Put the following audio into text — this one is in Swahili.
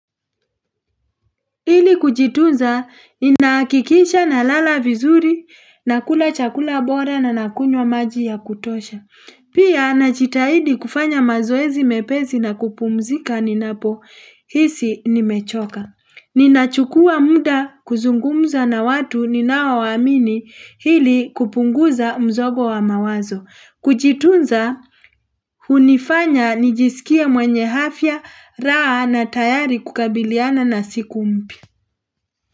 Ili kujitunza ni nakikisha na lala vizuri na kula chakula bora na nakunywa maji ya kutosha. Pia na jitahidi kufanya mazoezi mepezi na kupumzika ni napo hisi ni mechoka. Ninachukua muda kuzungumza na watu ni nawawamini hili kupunguza mzogo wa mawazo. Kujitunza hunifanya nijisikia mwenye afya raa na tayari kukabiliana na siku mpya.